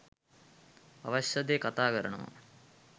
අවශ්‍ය දේ කතා කරනවා